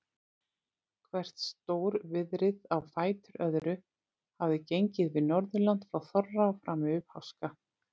Hvert stórviðrið á fætur öðru hafði gengið yfir Norðurland frá þorra og fram yfir páska.